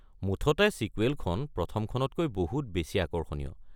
মুঠতে ছিকুৱেলখন প্ৰথমখনতকৈ বহুত বেছি আকৰ্ষণীয়।